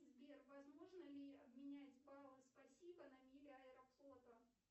сбер возможно ли обменять баллы спасибо на мили аэрофлота